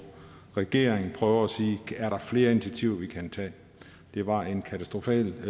regering prøver at sige er der flere initiativer vi kan tage det var en katastrofal